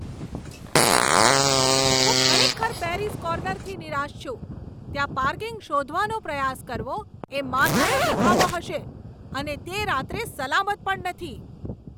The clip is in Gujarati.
હું ખરેખર પેરિઝ કોર્નરથી નિરાશ છું. ત્યાં પાર્કિંગ શોધવાનો પ્રયાસ કરવો એ માથાનો દુખાવો હશે, અને તે રાત્રે સલામત પણ નથી.